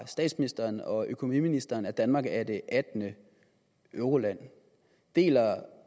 statsministeren og økonomiministeren at danmark er det attende euroland deler